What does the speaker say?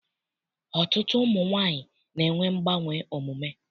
Ọtụtụ ụmụ nwaanyị na-enwe mgbanwe omume.